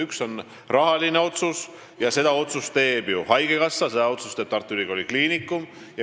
Üks on rahaline otsus ning seda teevad haigekassa ja Tartu Ülikooli Kliinikum.